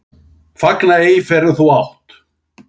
Fagna ei fyrr en þú átt.